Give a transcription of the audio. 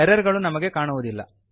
error ಗಳು ನಮಗೆ ಕಾಣುವುದಿಲ್ಲ